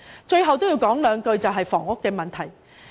最後要談談房屋問題。